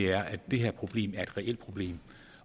er at det her problem er et reelt problem